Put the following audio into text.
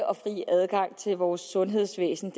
og fri adgang til vores sundhedsvæsen